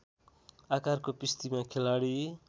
आकारको पिस्तीमा खेलाडी